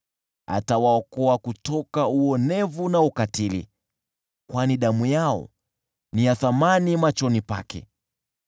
Atawaokoa kutoka uonevu na ukatili, kwani damu yao ni ya thamani machoni pake.